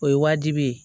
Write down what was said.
O ye wajibi ye